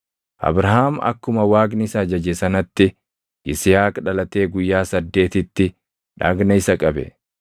Abrahaam akkuma Waaqni isa ajaje sanatti Yisihaaq dhalatee guyyaa saddeetitti dhagna isa qabe.